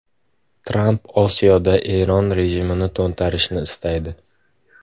Tramp Osiyoda Eron rejimini to‘ntarishni istaydi.